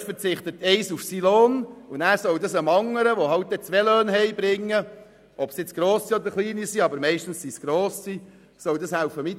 Bei diesen Eltern verzichtet ein Elternteil auf den Lohn, während im anderen Fall zwei Löhne – ob kleine oder grosse, meistens sind es grosse Löhne – erwirtschaftet werden.